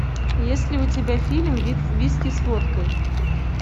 есть ли у тебя фильм виски с водкой